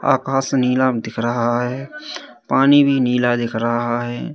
आकाश नीला दिख रहा है पानी भी नीला दिख रहा है।